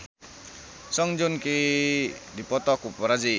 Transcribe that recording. Song Joong Ki dipoto ku paparazi